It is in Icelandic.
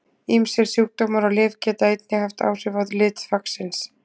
Ýmsir sjúkdómar og lyf geta einnig haft áhrif á lit þvagsins.